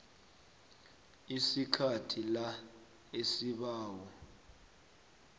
sikhathi la isibawo